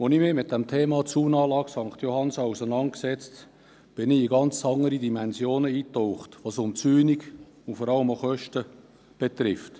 Als ich mich mit dem Thema Zaunanlage St. Johannsen auseinandersetzte, tauchte ich in ganz andere Dimensionen ein, was Umzäunungen und vor allem auch Kosten betrifft.